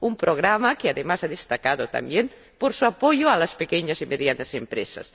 un programa que, además, se ha destacado también por su apoyo a las pequeñas y medianas empresas.